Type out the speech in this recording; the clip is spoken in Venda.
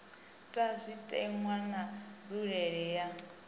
ta zwitenwa na nzulelele ya